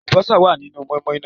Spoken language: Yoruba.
Àlùbọ́sá wá nínú moin-moin náà